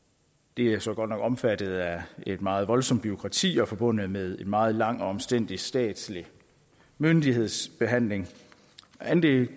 det er så godt nok omfattet af et meget voldsomt bureaukrati og forbundet med en meget lang og omstændelig statslig myndighedsbehandling men det